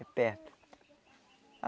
Perto.